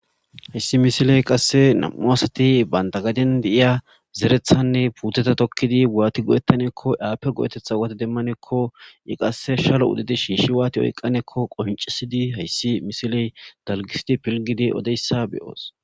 Hayssi misiley qasse nam'u asati baynta gaden deiya zerethanne puuteta tokkidi waati go' ettanekko aape go7etetha waati demmanekko i qasse shalo udedi shiishi waati oyqqanekko qohincisidi hayssi misiley dalgisidi pilgidi odeyssa beyoos.